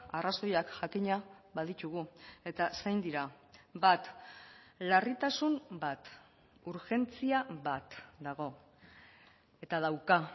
arrazoiak jakina baditugu eta zein dira bat larritasun bat urgentzia bat dago eta dauka